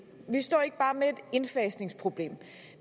og vi står ikke bare med et indfasningsproblem